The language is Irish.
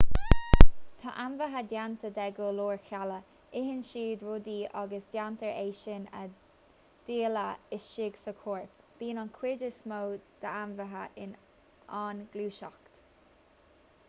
tá ainmhithe déanta de go leor cealla itheann siad rudaí agus déantar é sin a dhíleá istigh sa chorp bíonn an chuid is mó d'ainmhithe in ann gluaiseacht